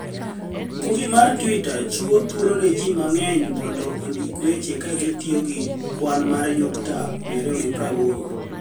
Mbui mar Twitter chiwo thuolo ni e ji manig'eniy monido onidik weche ka gitiyo gi kwani mar niyukta 280